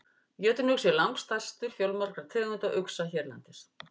Jötunuxi er langstærstur fjölmargra tegunda uxa hérlendis.